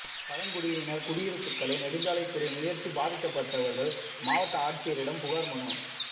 பழங்குடியினர் குடியிருப்புகளை நெடுஞ்சாலைத்துறை முயற்சி பாதிக்கப்பட்டவர்கள் மாவட்ட ஆட்சித்தலைவரிடம் புகார் மனு